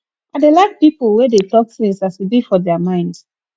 i dey like pipo wey dey tok tins as e be for their mind